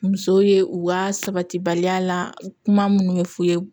Musow ye u ka sabati baliya la kuma minnu bɛ fɔ u ye